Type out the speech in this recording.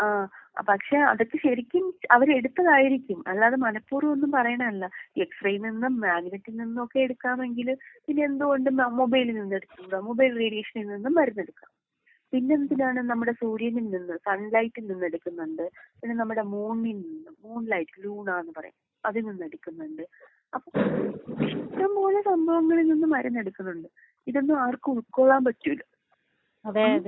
ആഹ് പക്ഷേ അതൊക്കെ ശെരിക്കും അവര് എടുത്തതായിരിക്കും അല്ലാതെ മനഃപൂർവ്വം ഒന്നും പറയുന്നതല്ല. എക്സ്റേയിൽ നിന്നും മാഗ്നെറ്റിൽ നിന്നും ഒക്കെ എടുക്കാം എങ്കില് പിന്നെ എന്ത് കൊണ്ട് മൊബൈലിൽ നിന്ന് എടുത്തു കൂടാ? മൊബൈൽ റേഡിയേഷനിൽ നിന്നും മരുന്നെടുക്കാം.പിന്നെ എന്തിലാണ് നമ്മുടെ സൂര്യനിൽ നിന്ന് സൺ ലൈറ്റിൽ നിന്ന് എടുക്കുന്നുണ്ട്.പിന്നെ നമ്മുടെ മൂണിൽ നിന്നും മൂൺ ലൈറ്റ് ലൂണാ എന്ന് പറയും അതിൽ നിന്നും എടുക്കുന്നുണ്ട്. അപ്പൊ ഇഷ്ടം പോലെ സംഭവങ്ങളിൽ നിന്നും മരുന്ന് എടുക്കുന്നുണ്ട്.ഇതൊന്നും ആർക്കും ഉൾകൊള്ളാൻ പറ്റൂല ഉം.